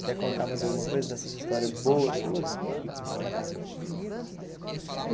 Quer contar mais alguma coisa dessas histórias boas suas?